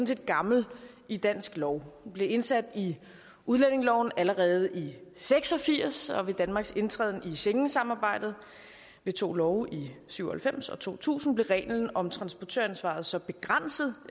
set gammel i dansk lov den blev indsat i udlændingeloven allerede i seks og firs og ved danmarks indtræden i schengensamarbejdet ved to love i syv og halvfems og to tusind blev reglen om transportøransvaret så begrænset